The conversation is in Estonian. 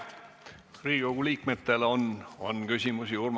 Kas Riigikogu liikmetel on veel küsimusi?